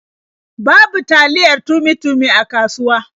Babu taliya Tummy-Tummy a kasuwa.